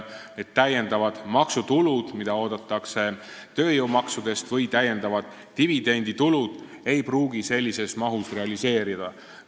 Esiteks, täiendavad maksutulud, mida oodatakse tööjõumaksudest, või täiendav dividenditulu ei pruugi sellises mahus realiseeruda.